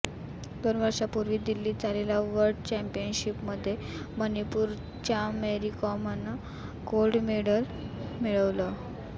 दोन वर्षांपूर्वी दिल्लीत झालेल्या वर्ल्ड चॅम्पियनशिपमध्ये मणीपूरच्या मेरीकॉमनं गोल्ड मेडल मिळवलं